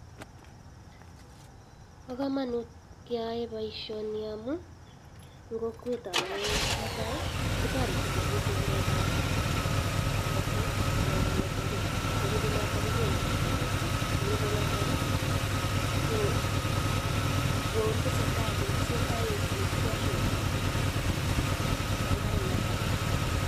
po komonut keyoe poishoni amu eng kokwet kotoreti korip ngalek ab ngalek ab ketik kalek ab mazingira nerupe notok kokonu ropta ketik nerupe notok ketese tai nekikotoi wangari mathai